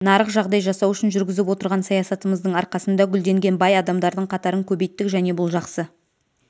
нарық жағдай жасау үшін жүргізіп отырған саясатымыздың арқасында гүлденген бай адамдардың қатарын көбейттік және бұл жақсы